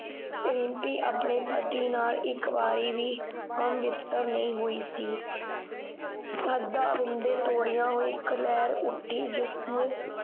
ਰਿਮਪੀ ਆਪਣੇ ਪਤੀ ਨਾਲ ਇਕ ਵਾਰੀ ਵੀ ਹਮਬਿਸਤਰ ਨਹੀਂ ਹੋਈ ਸੀ ਅੱਧਾ ਹੁੰਦੇ ਤੋਰੀਆ ਹੋਈ ਇਕ ਲਹਿਰ ਉੱਠੀ ਜਿਸਨੇ